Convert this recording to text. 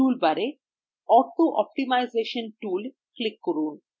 টুলবারে auto optimisation tool এ click করুন